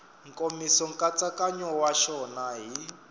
nkomiso nkatsakanyo wa xona hi